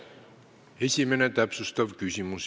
Esimene täpsustav küsimus.